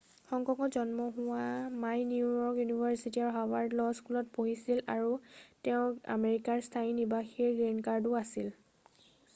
"হং কঙত জন্ম হোৱা মাই নিউ য়ৰ্ক ইউনিভাৰ্চিটি আৰু হাৰ্ভাৰ্ড ল স্কুলত পঢ়িছিল আৰু তেওঁৰ আমেৰিকাৰ স্থায়ী নিবাসীৰ "গ্ৰীণ কাৰ্ড""ও আছিল।""